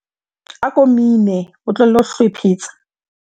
ako mine o tlohele ho hlwephetsa